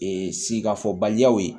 Ee sikasobaliyaw ye